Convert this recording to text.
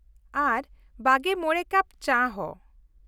ᱟᱨ ᱒᱕ ᱠᱟᱯ ᱪᱟ ᱦᱚᱸ᱾